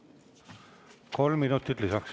Kolm minutit lisaks.